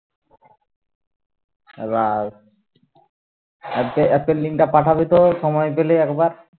রাশ app এর app এর লিঙ্কটা পাঠাবি তো সময় পেলে একবার